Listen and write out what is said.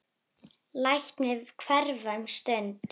Læt mig hverfa um stund.